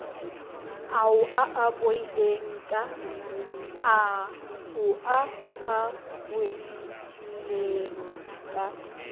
ao a a bolaileng ka